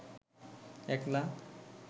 একলা